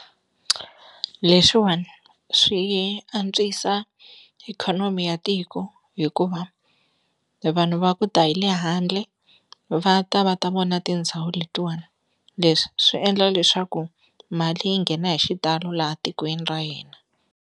Leswiwani swi antswisa ikhonomi ya tiko hikuva vanhu va ku ta hi le handle va ta va ta vona tindhawu letiwani leswi swi endla leswaku mali yi nghena hi xitalo laha tikweni ra yena.